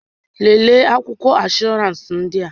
Lelee akwụkwọ ịnsbhọọransị ndị a!